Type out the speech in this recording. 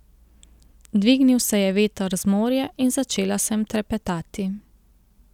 Dvignil se je veter z morja in začela sem trepetati.